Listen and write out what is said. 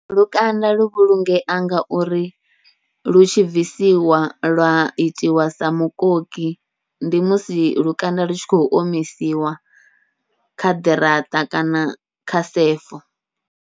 Lukanda lu vhulungea ngauri lu tshi bvisiwa lwa itiwa sa mukoki, ndi musi lukanda lu tshi khou omisiwa kha ḓiraṱa kana kha sefo.